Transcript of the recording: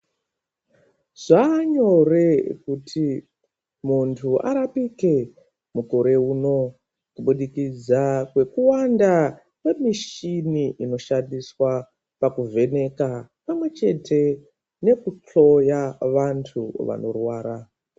Zvanyore kuti muntu arapike mukore unoo kubudikidza kwekuwanda kweminishini inoshandiswa pakuvheneka pamwechete neku hloya vantu vanorwara.